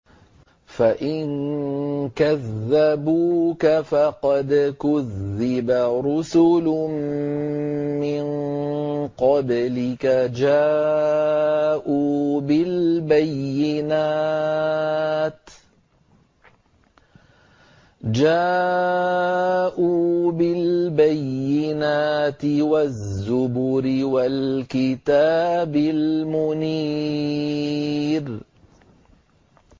فَإِن كَذَّبُوكَ فَقَدْ كُذِّبَ رُسُلٌ مِّن قَبْلِكَ جَاءُوا بِالْبَيِّنَاتِ وَالزُّبُرِ وَالْكِتَابِ الْمُنِيرِ